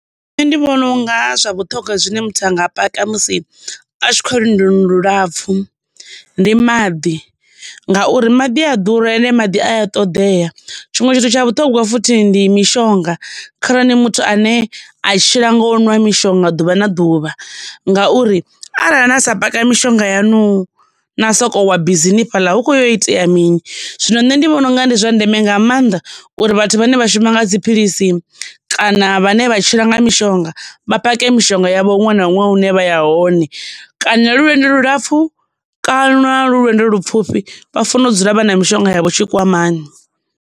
Nṋe ndi vhona unga zwa vhuṱhogwa zwine muthu a nga paka musi a tshi khou ya lwendoni lulapfhu, ndi maḓi, ngauri maḓi a ya ḓura ende maḓi a ya ṱoḓea, tshiṅwe tshithu tsha vhuṱhongwa futhi ndi mishonga kharali ni muthu ane a tshila ngo nwa mishonga ḓuvha na ḓuvha ngauri, arali na sa paka mishonga yaṋu na soko wa bisini fhaḽa hu kho yo itea mini. Zwino nṋe ndi vhona unga ndi zwa ndeme nga maanḓa uri vhathu vhane vha shuma nga dziphilisi kana vhane vha tshila nga mishonga vha pake mishonga yavho huṅwe na huṅwe hune vha ya hone, kana lu lwendo lulapfhu kana lu lwendo ḽupfhufhi, vha fanela u dzula vha na mishonga yavho tshikwamani.